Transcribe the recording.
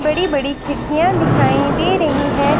बड़ी बड़ी खिड़कीयां दिखाई दे रही हैं।